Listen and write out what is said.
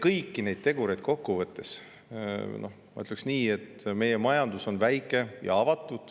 Kõiki neid tegureid kokku võttes ma ütleksin nii, et meie majandus on väike ja avatud.